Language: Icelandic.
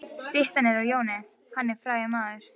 Styttan er af Jóni. Jón er frægur maður.